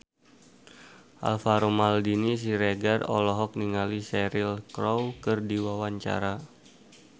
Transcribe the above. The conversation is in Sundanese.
Alvaro Maldini Siregar olohok ningali Cheryl Crow keur diwawancara